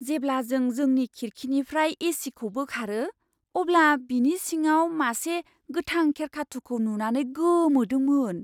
जेब्ला जों जोंनि खिरखिनिफ्राय एसीखौ बोखारो, अब्ला बिनि सिङाव मासे गोथां खेरखाथु'खौ नुनानै गोमोदोंमोन!